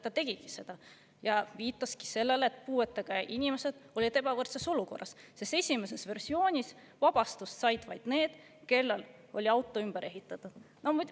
Ta tegigi seda ja viitas sellele, et puuetega inimesed on ebavõrdses olukorras, sest esimeses versioonis said vabastuse vaid need, kellel oli auto ümber ehitatud.